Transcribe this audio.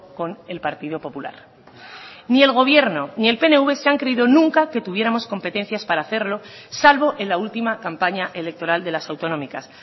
con el partido popular ni el gobierno ni el pnv se han creído nunca que tuviéramos competencias para hacerlo salvo en la última campaña electoral de las autonómicas